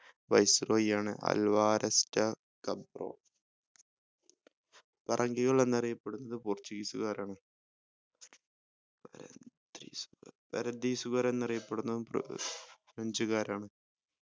viceroy ആണ് Alvares Cabral പറങ്കികൾ എന്ന് അറിയപ്പെടുന്നത് portuguese കാരാണ് പരദീസുകൾ എന്ന് അറിയപ്പെടുന്നത് ഫ്ര french കാരാണ്